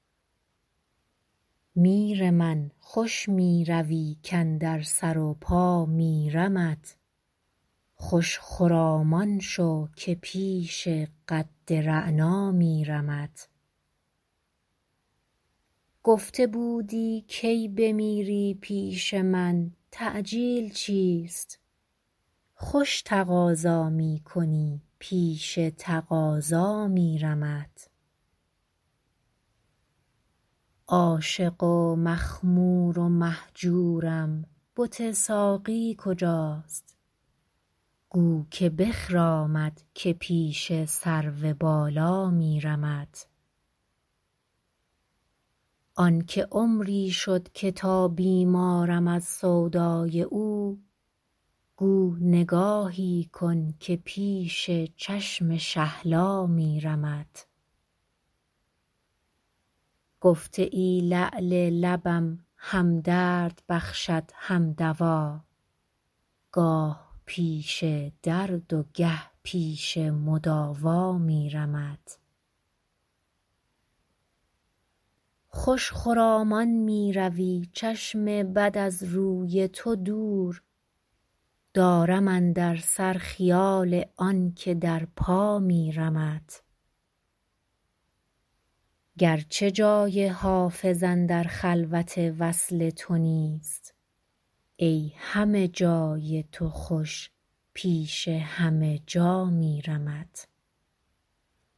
میر من خوش می روی کاندر سر و پا میرمت خوش خرامان شو که پیش قد رعنا میرمت گفته بودی کی بمیری پیش من تعجیل چیست خوش تقاضا می کنی پیش تقاضا میرمت عاشق و مخمور و مهجورم بت ساقی کجاست گو که بخرامد که پیش سرو بالا میرمت آن که عمری شد که تا بیمارم از سودای او گو نگاهی کن که پیش چشم شهلا میرمت گفته ای لعل لبم هم درد بخشد هم دوا گاه پیش درد و گه پیش مداوا میرمت خوش خرامان می روی چشم بد از روی تو دور دارم اندر سر خیال آن که در پا میرمت گرچه جای حافظ اندر خلوت وصل تو نیست ای همه جای تو خوش پیش همه جا میرمت